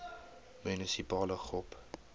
munisipale gop